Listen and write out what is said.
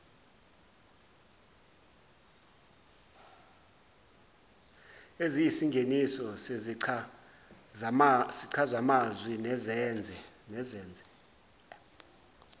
eziyisingeniso sezichazamazwi nezenze